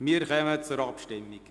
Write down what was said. Wir kommen zur Abstimmung.